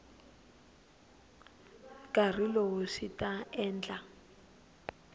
nkarhi lowu swi ta endla